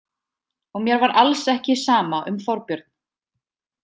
Og mér var alls ekki sama um Þorbjörn.